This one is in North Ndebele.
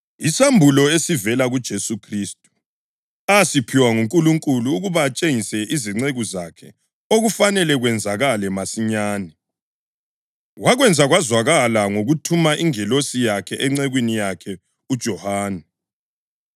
Isambulo esivela kuJesu Khristu, asiphiwa nguNkulunkulu ukuba atshengise izinceku zakhe okufanele kwenzakale masinyane. Wakwenza kwazakala ngokuthuma ingilosi yakhe encekwini yakhe uJohane